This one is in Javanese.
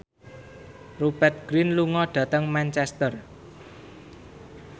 Rupert Grin lunga dhateng Manchester